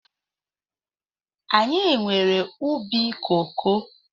Anyị nwere ubi koko